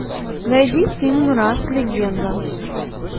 найди фильм рас легенда